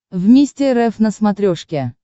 вместе рф на смотрешке